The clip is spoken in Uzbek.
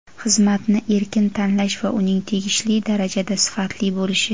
xizmat)ni erkin tanlash va uning tegishli darajada sifatli bo‘lishi;.